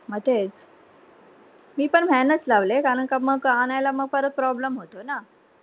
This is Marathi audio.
म तेच, मी पण van नच लावले कारण का मग आणायला मग परत problem होते ना